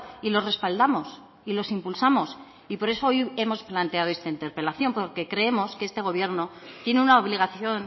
y lo respaldamos y los impulsamos y por eso hoy hemos planteado esta interpelación porque creemos que este gobierno tiene una obligación